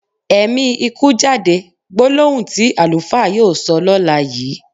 Ẹ̀mi ikú jáde! Gbólóhùn tí àlùfáà yóò sọ lọ́la yìí.